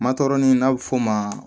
Matɔrɔni n'a bɛ f'o ma